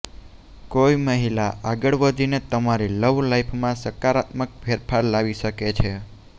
કોઈ મહિલા આગળ વધીને તમારી લવ લાઈફમાં સકારાત્મક ફેરફાર લાવી શકે છે